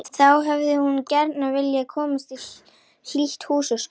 Þá hefði hún gjarna viljað komast í hlýtt húsaskjól.